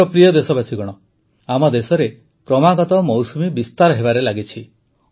ମୋର ପ୍ରିୟ ଦେଶବାସୀଗଣ ଆମ ଦେଶରେ କ୍ରମାଗତ ମୌସୁମୀ ବିସ୍ତାର ହେବାରେ ଲାଗିଛି